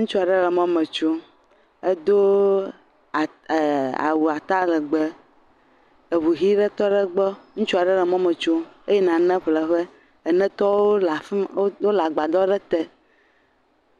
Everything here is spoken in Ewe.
Ŋutsu aɖe mɔ me tsom. Edo aa.. ee.... awu atalegbe. Eŋu ʋi ɖe tɔ ɖe gbɔ. Ŋutsua ɖe mɔme tsom eyi na ne ƒle ƒe. Ene tɔwo le a.. ff mmm agbadɔ aɖe te.